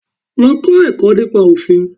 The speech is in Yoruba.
Lọ kọ́ ẹ̀kọ́ nípa Òfin.